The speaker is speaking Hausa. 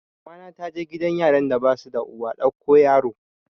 Mamana ta je gidan yaran da basu da uwa ɗauko yaro